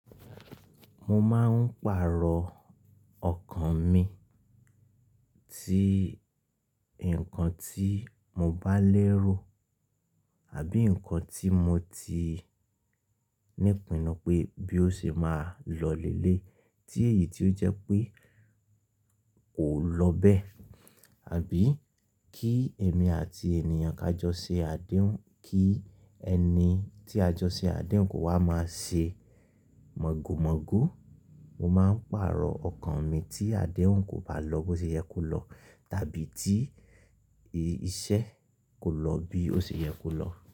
Mo máa ń pàrọ̀ ọkàn mi tí nǹkan tí mo bá lérò àbí nkan tí mo ti nípinu pé bí ó ṣe máa lọ lélèyí tí èyí tó jẹ́ pé kò ló bé. Àbí kí èmi àti ènìyàn ká jọ ṣe àdéhùn, kí ẹni tí a jọ ṣe àdéhùn kò wá máa ṣe mọ̀go mọ̀go. Mo máa ń pàrọ̀ ọkàn mi tí àdéhùn kò bá lọ bó ṣe yẹ kó lọ tàbí tí ìṣe kò lọ bí ó ṣe yẹ kó lọ.